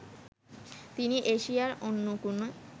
তিনি এশিয়ার অন্য কোনো